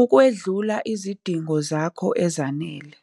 ukwedlula izidingo zakho ezanele.